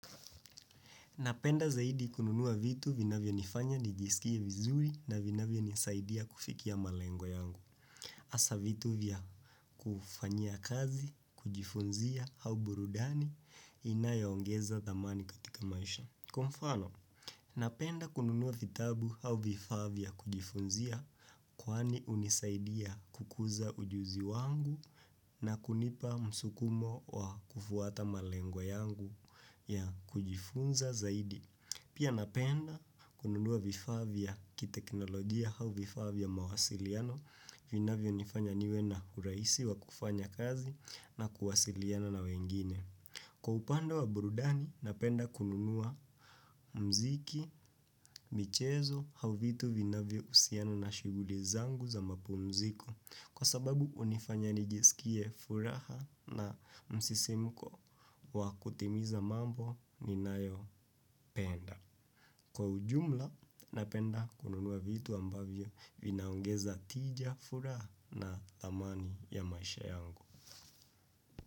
Napenda zaidi kununua vitu vinavyonifanya nijisikie vizuri na vinavyonisaidia kufikia malengo yangu. Hasaa vitu vya kufanyia kazi, kujifunzia au burudani inayo ongeza dhamani katika maisha. Kwa mfano, napenda kununua vitabu au vifaa vya kujifunzia kwani unisaidia kukuza ujuzi wangu na kunipa msukumo wa kufuata malengo yangu ya kujifunza zaidi. Pia napenda kununua vifaa vya kiteknolojia au vifaa vya mawasiliano, vinavyonifanya niwe na urahisi wa kufanya kazi na kuwasiliana na wengine. Kwa upande wa burudani, napenda kununua mziki, michezo, au vitu vinavyohusiana na shughuli zangu za mapumziko. Kwa sababu, hunifanya nijiskie furaha na msisimuko wa kutimiza mambo ninayopenda. Kwa ujumla napenda kununua vitu ambavyo vinaongeza tija furaha na amani ya maisha yangu.